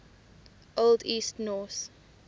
old east norse